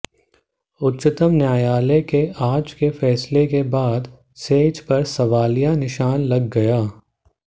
उच्चतम न्यायालय के आज के फैसले के बाद सेज पर सवालिया निशान लग गया है